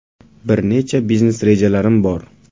Bir necha biznes rejalarim bor.